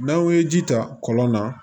N'anw ye ji ta kɔlɔn na